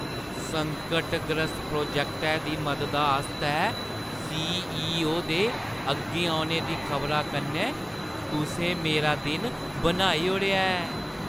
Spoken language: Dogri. संकटग्रस्त प्रोजैक्टै दी मददा आस्तै सी.ई.ओ. दे अग्गें औने दी खबरा कन्नै तुसें मेरा दिन बनाई ओड़ेआ ऐ!